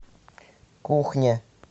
кухня